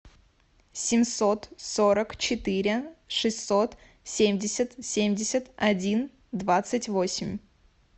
семьсот сорок четыре шестьсот семьдесят семьдесят один двадцать восемь